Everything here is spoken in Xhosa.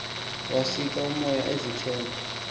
wasika umoya izithende